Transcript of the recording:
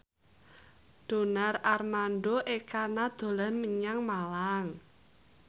Donar Armando Ekana dolan menyang Malang